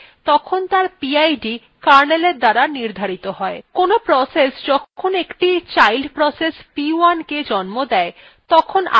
কোনো process যখন একটি child process p1 the জন্ম দেয় তখন আগের processএর pid p1 processএর ppid হয়